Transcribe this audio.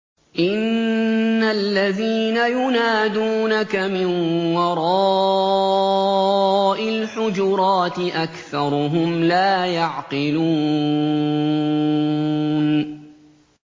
إِنَّ الَّذِينَ يُنَادُونَكَ مِن وَرَاءِ الْحُجُرَاتِ أَكْثَرُهُمْ لَا يَعْقِلُونَ